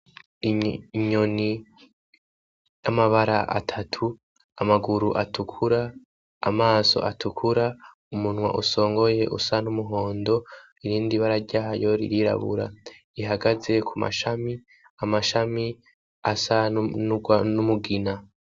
Inyoni y'amabara atatu amaguru atukura, amaso atukura, umunwa usongoye usa n'umuhondo irindi bara ryayo ririrabura, ihagaze ku mashami, amashami asa n'umugina.